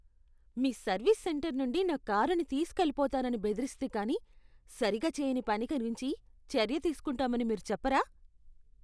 మీ service centre నుండి నా కారుని తీసుకెళ్ళిపోతానని బెదిరిస్తే కానీ సరిగా చేయని పని గురించి చర్య తీసుకుంటామని మీరు చెప్పరా?